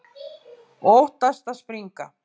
Og óttast að springa.